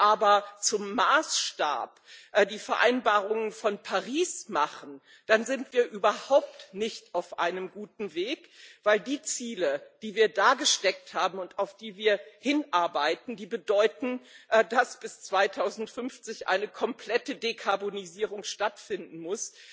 Wenn Sie aber die Vereinbarungen von Paris zum Maßstab machen, dann sind wir überhaupt nicht auf einem guten Weg, denn die Ziele, die wir da gesteckt haben und auf die wir hinarbeiten, bedeuten, dass bis 2050 eine komplette Dekarbonisierung stattfinden muss.